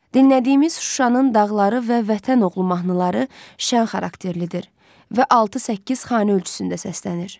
Dinlədiyimiz Şuşanın dağları və Vətən oğlu mahnıları şən xarakterlidir və altı-səkkiz xanə ölçüsündə səslənir.